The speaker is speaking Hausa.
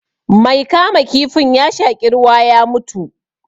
Mai kama kifin ya shaƙi ruwa ya mutu